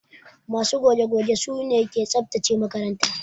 Ma su goge goge su ne ke tsabtace makarantar.